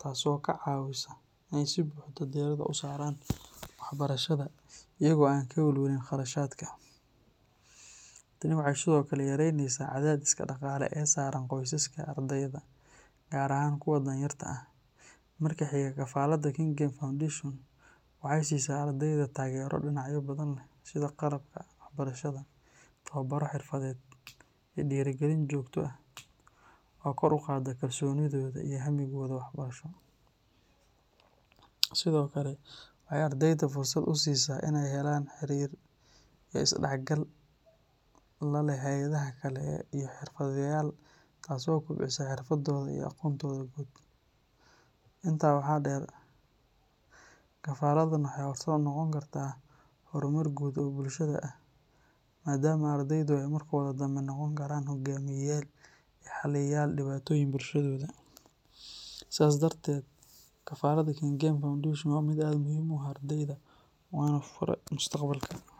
taasoo ka caawisa inay si buuxda diiradda u saaraan waxbarashada iyagoo aan ka walwalin kharashaadka. Tani waxay sidoo kale yaraynaysaa cadaadiska dhaqaale ee saaran qoysaska ardayda, gaar ahaan kuwa danyarta ah. Marka xiga, kafaladda Kengen Foundation waxay siisaa ardayda taageero dhinacyo badan leh sida qalabka waxbarashada, tababaro xirfadeed, iyo dhiirrigelin joogto ah oo kor u qaadda kalsoonidooda iyo hammigooda waxbarasho. Sidoo kale, waxay ardayda fursad u siisaa inay helaan xiriir iyo is-dhexgal la leh hay’adaha kale iyo xirfadlayaal, taasoo kobcisa xirfadooda iyo aqoontooda guud. Intaa waxaa dheer, kafaladdan waxay horseed u noqon kartaa horumar guud oo bulshada ah maadaama ardaydu ay markooda dambe noqon karaan hogaamiyeyaal iyo xalliyayaal dhibaatooyinka bulshadooda. Sidaas darteed, kafaladda Kengen Foundation waa mid aad muhiim ugu ah ardayda, waana fura mustaqbalka.